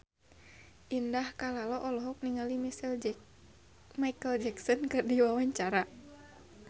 Indah Kalalo olohok ningali Micheal Jackson keur diwawancara